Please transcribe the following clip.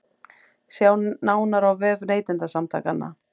Sjá nánar á vef Neytendasamtakanna